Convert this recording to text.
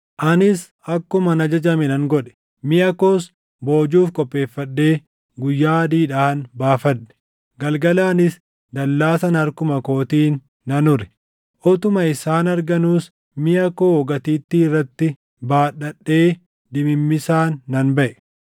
Anis akkuman ajajame nan godhe. Miʼa koos boojuuf qopheeffadhee guyyaa adiidhaan baafadhe. Galgalaanis dallaa sana harkuma kootiin nan ure. Utuma isaan arganuus miʼa koo gatiittii irratti baadhadhee dimimmisaan nan baʼe.